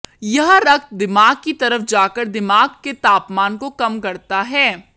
यह रक्त दिमाग की तरफ जाकर दिमाग के तापमान को कम करता है